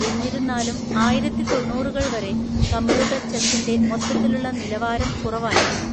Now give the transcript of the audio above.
എന്നിരുന്നാലും, ആയിരത്തിത്തൊണ്ണൂറുകൾ വരെ കമ്പ്യൂട്ടർ ചെസിന്റെ മൊത്തത്തിലുള്ള നിലവാരം കുറവായിരുന്നു.